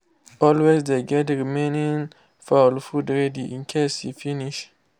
always dey get remaining fowl food ready in case e finsh.